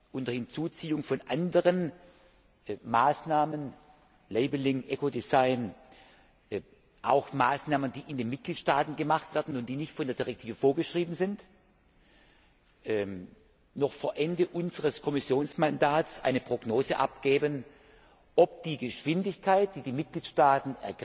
Unter Hinzuziehung von anderen Maßnahmen Labeling, Eco Design, auch Maßnahmen, die in den Mitgliedstaaten gemacht werden und die nicht von der Richtlinie vorgeschrieben sind wollen wir dann noch vor Ende unseres Kommissionsmandats eine Prognose abgeben, ob die Geschwindigkeit der Umsetzung in den Mitgliedstaaten